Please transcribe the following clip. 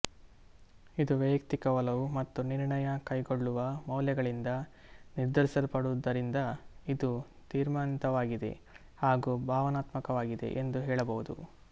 ಇದು ವೈಯಕ್ತಿಕ ಒಲವು ಮತ್ತು ನಿರ್ಣಯ ಕೈಗೊಳ್ಳುವ ಮೌಲ್ಯಗಳಿಂದ ನಿರ್ಧರಿಸಲ್ಪಡುವುದರಿಂದ ಇದು ತೀರ್ಮಾನಿತವಾಗಿದೆ ಹಾಗೂ ಭಾವನಾತ್ಮಕವಾಗಿದೆ ಎಂದು ಹೇಳಬಹುದು